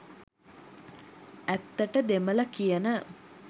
ඇත්තට දෙමළ කියන